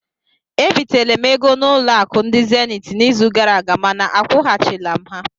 Ebitere m ego n'ụlọ akụ ndị zenit n'izu gara aga mana akwụghachila m ha